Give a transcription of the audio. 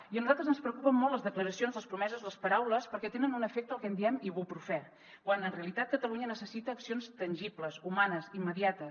i a nosaltres ens preocupen molt les declaracions les promeses les paraules perquè tenen un efecte el que en diem ibuprofèn quan en realitat catalunya necessita accions tangibles humanes immediates